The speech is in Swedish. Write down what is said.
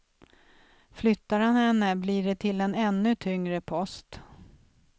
Flyttar han henne blir det till en ännu tyngre post.